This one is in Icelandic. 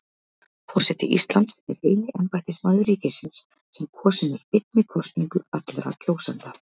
Forseti Íslands er eini embættismaður ríkisins sem kosinn er beinni kosningu allra kjósenda.